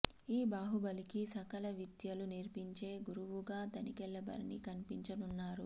ఈ బాహుబలికి సకల విద్యలు నేర్పించే గురువుగా తనికెళ్ళ భరణి కనిపించనున్నాడు